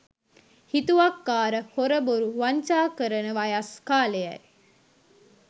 හිතුවක්කාර හොර බොරු වංචා කරන වයස් කාලයයි